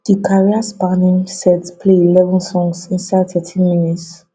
di careerspanning set play eleven songs inside thirteen minutes